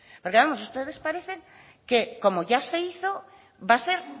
porque vamos ustedes parecen que como ya se hizo va a ser